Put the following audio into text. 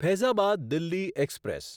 Faizabad Delhi express